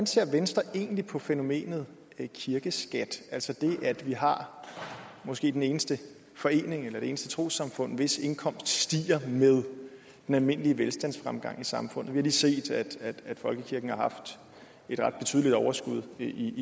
ser venstre egentlig på fænomenet kirkeskat altså det at vi har måske den eneste forening eller er det eneste trossamfund hvis indkomst stiger med den almindelige velstandsfremgang i samfundet vi har lige set at folkekirken har haft et ret betydeligt overskud i